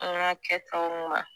An ga kɛ tɔnguma